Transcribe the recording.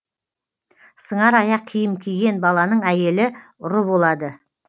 сыңар аяқ киім киген баланың әйелі ұры болады